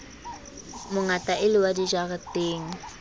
mongata e le wa dijareteng